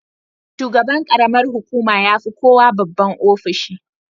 Shugaban ƙaramar hukuma ya fi kowa babban ofishi.